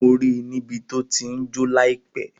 Mo ri ní bí to ti jo laipe